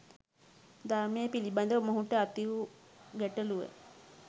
ධර්මය පිළිබඳව මොහුට ඇති වූ ගැටළුව